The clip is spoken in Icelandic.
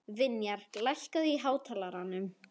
Vinjar, lækkaðu í hátalaranum.